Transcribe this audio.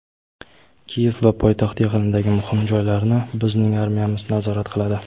Kiyev va poytaxt yaqinidagi muhim joylarni bizning armiyamiz nazorat qiladi.